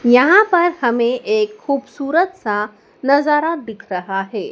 यहां पर हमें एक खूबसूरत सा नजारा दिख रहा है।